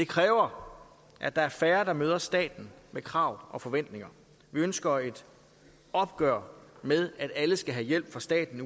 kræver at der er færre der møder staten med krav og forventninger vi ønsker et opgør med at alle skal have hjælp fra staten